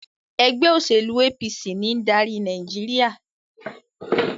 ègbé òṣèlú APC ní ń dárí Nàìjíríà.